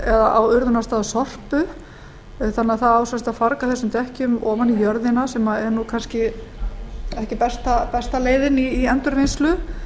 drenlag á urðunarstað sorpu þannig að það á sem sagt að farga þessum dekkjum ofan í jörðina sem er kannski ekki besta leiðin í endurvinnslu